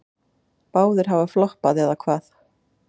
Báðir hafa floppað, eða hvað?